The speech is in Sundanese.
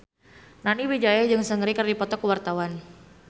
Nani Wijaya jeung Seungri keur dipoto ku wartawan